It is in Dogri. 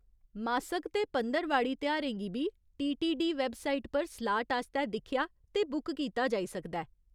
मासक ते पंदरवाड़ी तेहारें गी बी टीटीडी वैबसाइट पर स्लाट आस्तै दिक्खेआ ते बुक कीता जाई सकदा ऐ।